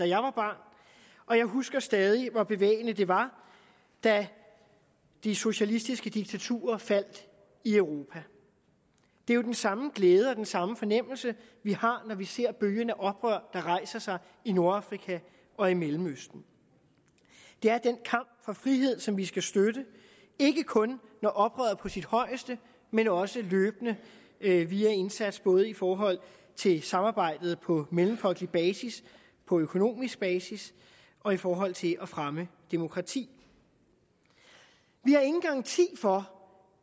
jeg var barn og jeg husker stadig hvor bevægende det var da de socialistiske diktaturer faldt i europa det er jo den samme glæde og den samme fornemmelse vi har når vi ser bølgen af oprør der rejser sig i nordafrika og i mellemøsten det er den kamp for frihed som vi skal støtte ikke kun når oprøret er på sit højeste men også løbende via indsats både i forhold til samarbejdet på mellemfolkelig basis på økonomisk basis og i forhold til at fremme demokrati vi har ingen garanti for